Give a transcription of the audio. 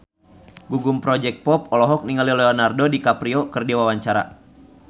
Gugum Project Pop olohok ningali Leonardo DiCaprio keur diwawancara